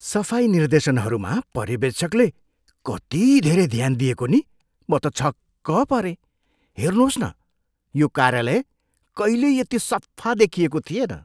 सफाइ निर्देशनहरूमा पर्यवेक्षकले कति धेरै ध्यान दिएको नि! म त छक्क परेँ। हेर्नुहोस् न, यो कार्यालय कहिल्यै यति सफा देखिएको थिएन!